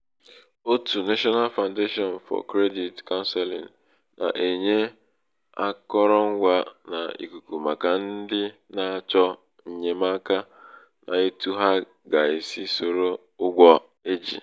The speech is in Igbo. òtù national founation for credit counseling nà-ènye akọrọṅgwā n’ìk̀ùkù màkà ndị na-achọ ènyèmaka n’etu ha gà-èsi sòro um ụgwọ e jì.